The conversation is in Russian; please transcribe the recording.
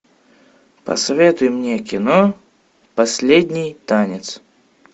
посоветуй мне кино последний танец